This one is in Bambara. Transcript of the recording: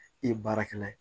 I ye baarakɛla ye